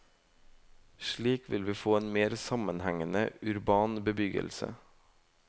Slik vil vi få en mer sammenhengende, urban bebyggelse.